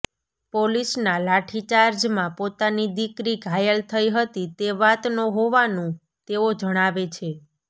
પોલીસના લાઠીચાર્જમાં પોતાની દીકરી ઘાયલ થઈ હતી તે વાતનો હોવાનું તેઓ જણાવે છે